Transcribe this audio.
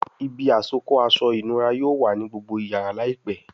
Ibi àsokọ́ aṣọ ìnura yóò wá ní gbógbó iyàrá láìpé.